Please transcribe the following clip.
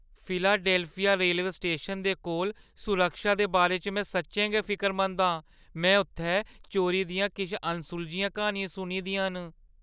Philadelphia rail स्टेशनै दे कोल सुरक्षा दे बारे च में सच्चें गै फिकरमंद आं; में उत्थै चोरी दियां किश अनसुलझियां क्हानियां सुनी दियां न।